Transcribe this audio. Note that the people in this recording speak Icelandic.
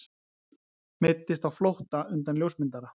Meiddist á flótta undan ljósmyndara